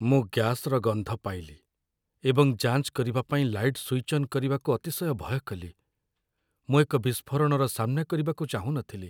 ମୁଁ ଗ୍ୟାସ୍‌ର ଗନ୍ଧ ପାଇଲି ଏବଂ ଯାଞ୍ଚ କରିବା ପାଇଁ ଲାଇଟ୍ ସୁଇଚ୍ ଅନ୍ କରିବାକୁ ଅତିଶୟ ଭୟ କଲି। ମୁଁ ଏକ ବିସ୍ଫୋରଣର ସାମ୍ନା କରିବାକୁ ଚାହୁଁ ନଥିଲି।